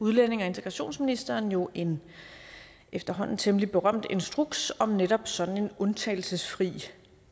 udlændinge og integrationsministeren jo en efterhånden temmelig berømt instruks om netop sådan en undtagelsesfri